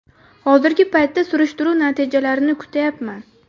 Hozirgi paytda surishtiruv natijalarini kutayapman.